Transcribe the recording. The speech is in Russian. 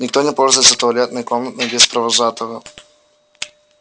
никто не пользуется туалетной комнатой без провожатого